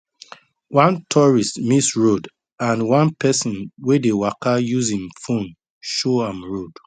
one tourist miss road and one person wey dey waka use im phone show am road